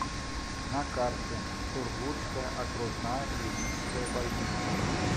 на карте сургутская окружная клиническая больница